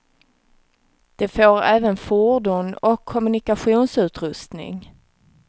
De får även fordon och kommunikationsutrustning.